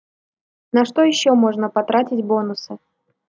на что ещё можно потратить бонусы